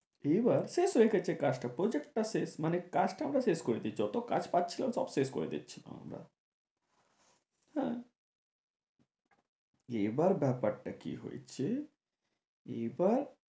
এবার শেষ হয়ে গেছে কাজটা, project টা শেষ মানে কাজটা আমরা শেষ করে দিয়েছি এত কাজ পাচ্ছিলাম সব শেষ করে দিচ্ছিলাম আমরা হ্যাঁ এবার ব্যাপারটা কি হয়েছে এবার